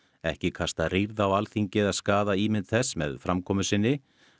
ekki kasta rýrð á Alþingi eða skaða ímynd þess með framkomu sinni